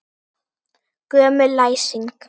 Gömul læsing.